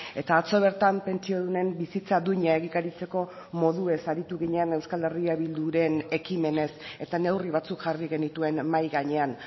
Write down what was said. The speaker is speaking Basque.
eta atzo bertan pentsiodunen bizitza duina egikaritzeko moduez aritu ginen euskal herria bilduren ekimenez eta neurri batzuk jarri genituen mahai gainean